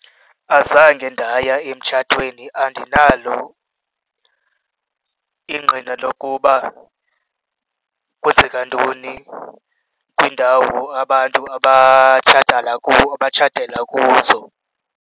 Azange ndaya emtshatweni, andinalo ingqina lokuba kwenzeka ntoni kwiindawo abantu abatshatela kuzo.